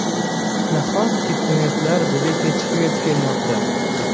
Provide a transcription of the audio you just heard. Nahotki trendlar bizga kechikib yetib kelmoqda?